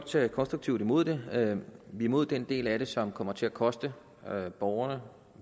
tage konstruktivt imod det er imod den del af det som kommer til at koste borgerne og